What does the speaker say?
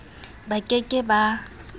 ba ke ke ba ba